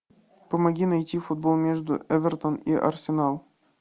помоги найти футбол между эвертон и арсенал